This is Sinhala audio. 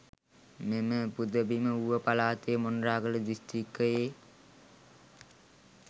මෙම පුදබිම ඌව පළාතේ මොනරාගල දිස්ත්‍රික්කයෙ